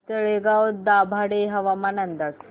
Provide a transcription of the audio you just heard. तळेगाव दाभाडे हवामान अंदाज